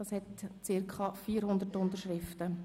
Diese Petition zählt zirka 400 Unterschriften.